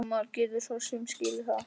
Og maður getur svo sem skilið það.